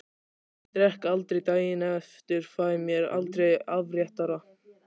Ég drekk aldrei daginn eftir, fæ mér aldrei afréttara.